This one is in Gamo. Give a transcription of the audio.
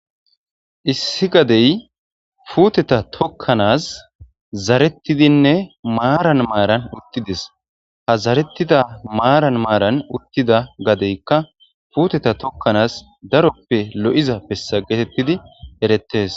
issi gadey puteta tokkanas zarettidinne maaran maaran uttides ha zarettida maaran maaran uttida gadeykka puteta tokkanas daroppe lo7iza pessa geetettidi erettes